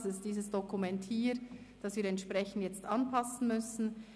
Das ist dieses Dokument hier , das wir entsprechend anpassen müssen.